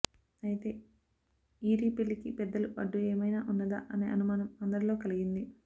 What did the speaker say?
అయితే ఈరి పెళ్ళికి పెద్దలు అడ్డు ఏమైనా ఉన్నదా అనే అనుమానం అందరిలో కలిగింది